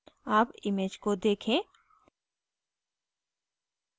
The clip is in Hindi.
अब image को देखें